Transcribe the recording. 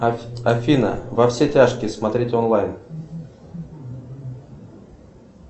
афина во все тяжкие смотреть онлайн